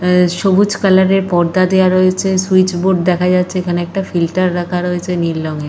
আঃ সবুজ কালার এর পর্দা দেওয়া রয়েছে। সুইচবোর্ড দেখা যাচ্ছে। এখানে একটা ফিল্টার রাখা রয়েছে নীল রঙের।